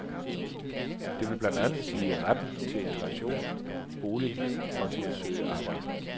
Det vil blandt andet sige retten til integration, bolig og til at søge arbejde.